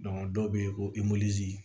dɔw bɛ yen ko